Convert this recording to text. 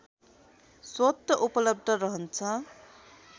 स्वतः उपलब्ध रहन्छ